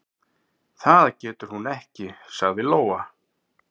"""Það getur hún ekki, sagði Lóa."""